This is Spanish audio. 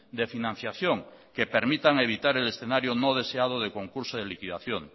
de financiación que permitan evitar el escenario no deseado de concurso de liquidación